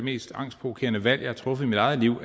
mest angstprovokerende valg jeg har truffet i mit eget liv